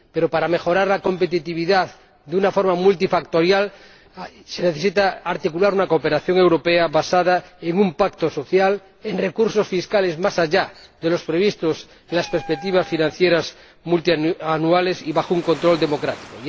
Pero para mejorar la competitividad de una forma multifactorial se necesita articular una cooperación europea basada en un pacto social, en recursos fiscales más allá de los previstos en las perspectivas financieras multianuales, y bajo un control democrático.